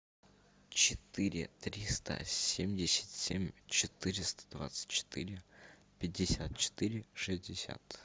четыре триста семьдесят семь четыреста двадцать четыре пятьдесят четыре шестьдесят